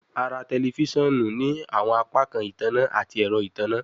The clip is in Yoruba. A ra tẹlifisiọnu ni awọn apakan itanna ati ẹrọ itanna